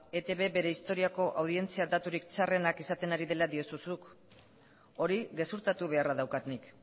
eitb bere historiako audientzia daturik txarrenak izaten ari dela diozu zuk hori gezurtatu beharra daukat nik